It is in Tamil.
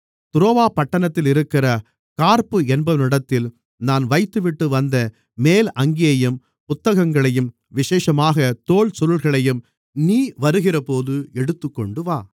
துரோவா பட்டணத்திலிருக்கிற கார்ப்பு என்பவனிடத்தில் நான் வைத்துவிட்டுவந்த மேலங்கியையும் புத்தகங்களையும் விசேஷமாகத் தோல் சுருள்களையும் நீ வருகிறபோது எடுத்துக்கொண்டுவா